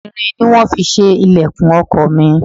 Irin ni wón fi ṣe ìlẹ̀kùn ọkọ̀ mi.